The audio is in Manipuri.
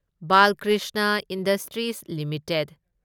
Balkrishna industries limited